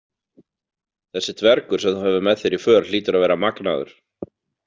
Þessi dvergur sem þú hefur með þér í för hlýtur að vera magnaður.